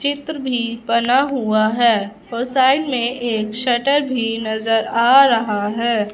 चित्र भी बना हुआ है और साइड में एक शटर भी नजर आ रहा है।